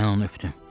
Mən onu öpdüm.